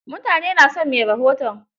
Mutane na son mai rahoton.